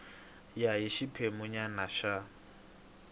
ya hi xiphemu nyana xa